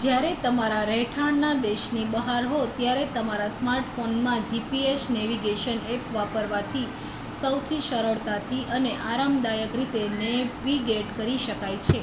જ્યારે તમારા રહેઠાણના દેશની બહાર હો ત્યારે તમારા સ્માર્ટફોનમાં gps નૅવિગેશન ઍપ વાપરવાથી સૌથી સરળતાથી અને આરામદાયક રીતે નૅવિગેટ કરી શકાય છે